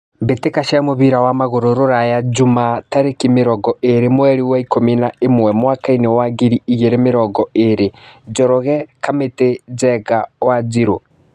Mbĩtĩka cia mũbira wa magũrũ Ruraya Jumaa tarĩki mĩrongo ĩrĩ mweri wa ikũmi na ĩmwe mwakainĩ wa ngiri igĩrĩ na mĩrongo ĩrĩ Njoroge, Kamiti, Njenga, Wanjiru.